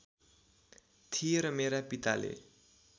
थिए र मेरा पिताले